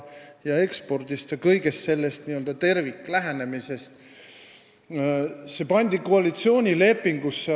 Ehk me räägime terviklähenemisest, mis pandi koalitsioonilepingusse.